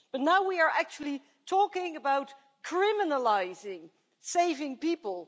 But now we are actually talking about criminalising saving people.